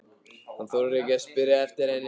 Hann þorir ekki að spyrja eftir henni.